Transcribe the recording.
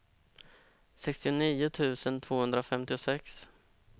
sextionio tusen tvåhundrafemtiosex